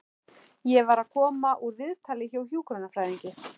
Ég var að koma úr viðtali hjá hjúkrunarfræðingi.